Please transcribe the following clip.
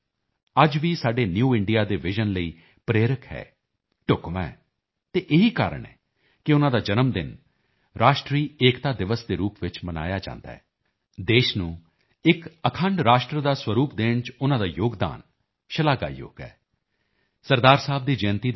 ਸਾਹਿਬ ਦਾ ਇਹ ਕਹਿਣਾ ਅੱਜ ਵੀ ਸਾਡੇ ਨਿਊ ਇੰਡੀਆ ਦੇ ਵਿਜ਼ਨ ਲਈ ਪ੍ਰੇਰਕ ਹੈ ਢੁਕਵਾਂ ਹੈ ਅਤੇ ਇਹੀ ਕਾਰਣ ਹੈ ਕਿ ਉਨ੍ਹਾਂ ਦਾ ਜਨਮ ਦਿਨ ਰਾਸ਼ਟਰੀ ਏਕਤਾ ਦਿਵਸ ਦੇ ਰੂਪ ਵਿੱਚ ਮਨਾਇਆ ਜਾਂਦਾ ਹੈ ਦੇਸ਼ ਨੂੰ ਇੱਕ ਅਖੰਡ ਰਾਸ਼ਟਰ ਦਾ ਸਵਰੂਪ ਦੇਣ ਚ ਉਨ੍ਹਾਂ ਦਾ ਯੋਗਦਾਨ ਸ਼ਲਾਘਾਯੋਗ ਹੈ ਸ